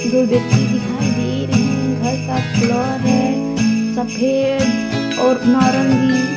दो व्यक्ति दिखाई दे रहे हैं घर का कलर है सफेद और नारंगी।